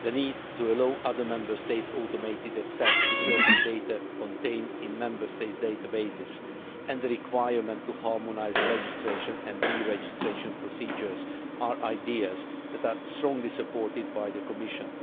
the need to allow other Member States automated access to certain data contained in Member States' databases and the requirement to harmonise registration and deregistration procedures are ideas that are strongly supported by the Commission.